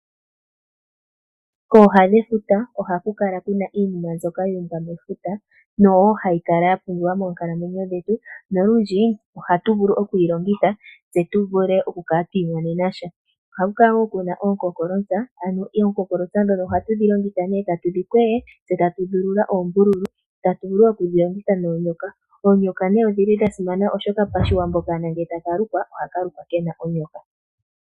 Kooha dhefuta ohaku kala ku na iinima mbyoka yu umbwa mefuta noyo wo hayi kala yapumbiwa moonkalamwenyo dhetu, nolundji ohatu vulu okuyi longitha tse tu vule okukala twi imonena sha. Ohamu kala woo mu na oonkonkolosa ano oonkonkolosa ndhono ohatu dhi longitha nee tatu dhi kwege tse tatu dhi ulula oombululu tatu vulu woo okudhi longitha moonyoka. Oonyoka nee odha simana, oshoka paShiwambo okaana ngee taka lukwa ohaka lukwa tska pewa onyoka.